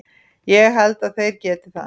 Ég held að þeir geti það.